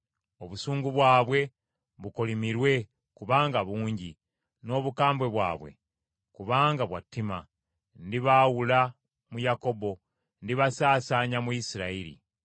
Obusungu bwabwe bukolimirwe, kubanga bungi; n’obukambwe bwabwe, kubanga bwa ttima. Ndibaawula mu Yakobo, ndibasaasaanya mu Isirayiri.